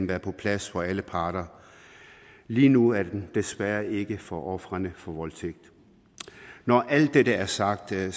være på plads for alle parter lige nu er den det desværre ikke for ofrene for voldtægt når alt det er sagt er